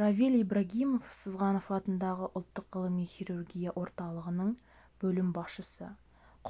равиль ибрагимов сызғанов атындағы ұлттық ғылыми хирургия орталығының бөлім басшысы